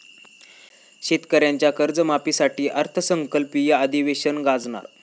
शेतकऱ्यांच्या कर्जमाफीसाठी अर्थसंकल्पीय अधिवेशन गाजणार